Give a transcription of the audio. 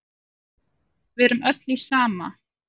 Við erum öll í sama